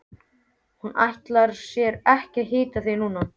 Hún ætlar sér ekki að hitta þig núna.